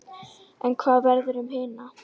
En hvað verður um hina?